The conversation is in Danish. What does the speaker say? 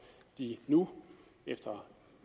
de nu efter